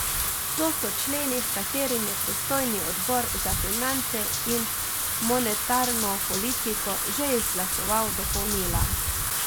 To so členi, h katerim je pristojni odbor za finance in monetarno politiko že izglasoval dopolnila.